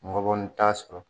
Ngɔbɔni t'a sɔrɔ